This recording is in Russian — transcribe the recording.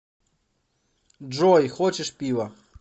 джой хочешь пива